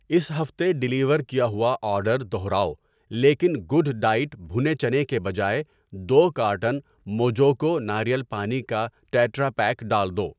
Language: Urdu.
اس ہفتے ڈیلیور کیا ہوا آرڈر دوہراؤ لیکن گوڈ ڈائٹ بھنے چنے کے بجائے دو کارٹن موجوکو ناریل پانی کا ٹیٹرا پیک ڈال دو۔